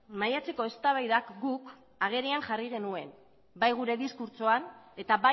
maiatzeko eztabaidak guk agerian jarri genuen bai gure diskurtsoan eta